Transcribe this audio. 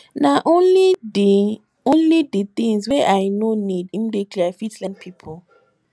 na only di only di tins wey i no need immediately i fit lend pipo